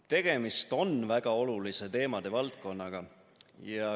Tegemist on väga olulise teemade valdkonnaga.